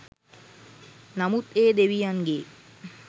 නමුත් ඒ දෙවියන්ගේ